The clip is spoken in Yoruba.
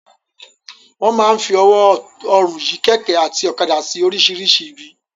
Wọ́n máa ń fi ọwọ́ ọrùn yí kẹ̀kẹ́ àti ọ̀kadà sí oríṣìíríṣìí ibi.